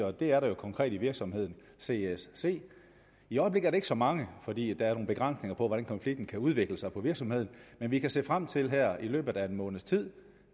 og det er der jo konkret i virksomheden csc i øjeblikket ikke så mange fordi der er nogle begrænsninger for hvordan konflikten kan udvikle sig på virksomheden men vi kan se frem til her i løbet af en måneds tid